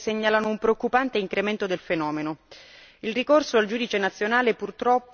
Le statistiche disponibili, ancorché obsolete, segnalano un preoccupante incremento del fenomeno.